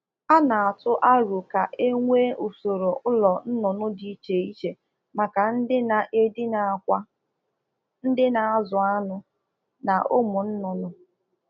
A na akwado usoro nkewapụ ụlọ ọzụzụ ọkụkọ n'ụdị na ọkụkọ ndị na eyi akwa, ndị toputarala ogo oriri n'akwa ndị amụrụ ọhụrụ ga a nọ iche iche